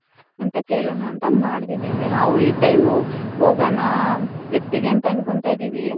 ಅಂತ ಕೆಳನ ಅಂತ ಮಾಡ್ದೆ ದಿವ್ಯ ನಾವು ಈ time ಹೋಗೋಣ trip ಇಗೆ ಅಂತ ಅಂಥ್ಕೊಂಡ್ತೈದಿವಿ .